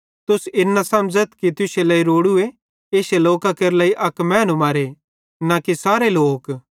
तुसन इन न समझ़थ कि तुश्शे लेइ रोड़ूए इश्शे लोकां केरे लेइ अक मैनू मरे न कि इश्शे सारे लोक